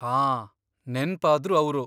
ಹಾಂ, ನೆನ್ಪಾದ್ರು ಅವ್ರು.